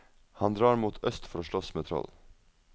Han drar mot øst for å slåss med troll.